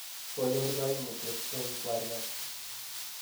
konyoor kaimutyet en kwariat